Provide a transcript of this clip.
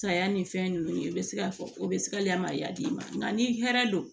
Saya ni fɛn ninnu i bɛ se ka fɔ o bɛ se ka lem'a d'i ma nka ni hɛrɛ don